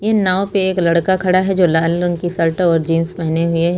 ये नाव पे एक लड़का खड़ा है जो लाल रंग की शर्ट और जींस पहने हुए है।